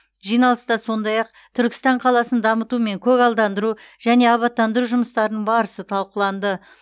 жиналыста сондай ақ түркістан қаласын дамыту мен көгалдандыру және абаттандыру жұмыстарының барысы талқыланды